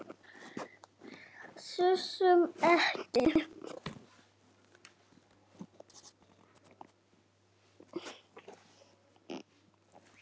Þusum ekki.